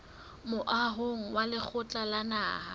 moahong wa lekgotla la naha